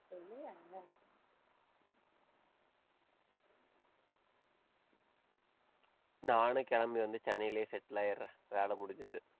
நானும் கிளம்பி வந்து, சென்னையிலேயே settle ஆயிடுறேன். வேலை முடிஞ்சுது.